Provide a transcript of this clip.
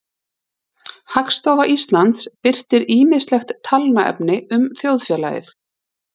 hagstofa íslands birtir ýmislegt talnaefni um þjóðfélagið